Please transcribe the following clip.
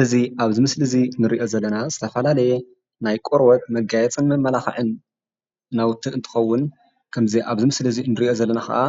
እዚ አብዚ ምስሊ እዚ ንሪኦ ዘለና ዝተፈላለየ ናይ ቆርቦት መጋየፅን መመላኽዕን ናውቲ እንትኾውን ኸምዚ አብዚ ምስሊ እዚ እንሪኦ ዘለና ኸአ